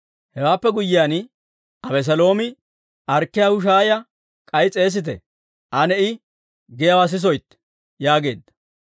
Hewaappe guyyiyaan Abeseeloomi, «Arkkiyaa Hushaaya k'ay s'eesite; ane I giyaawaa sisoytte» yaageedda.